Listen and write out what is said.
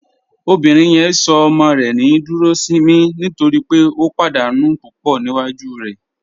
Obìnrin yẹn sọ ọmọ rẹ ní Dúròṣìnmí nítorí pé ó pádànù púpọ́ níwájú rẹ.